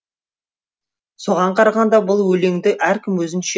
соған қарағанда бұл өлеңді әркім өзінше